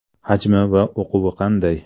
Hajmi va uquvi qanday?